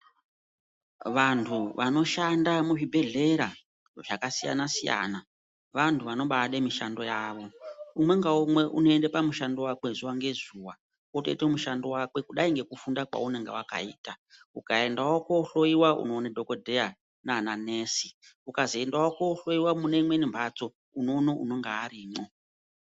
Vantu vanoshanda muzvibhedhlera zvakasiyana- siyana vantu vanombaade mishado yavo. Umwe ngaumwe unoende pamushando wakwe zuwa ngezuwa otoita mushando wakwe kudai ngekufunda kwounenge wakaita. Ukaendawo kohloiwa unoona madhokodheya nananesi ukazoendowo kohloiwa mune imweni mumphatso unoona unenge arimwo.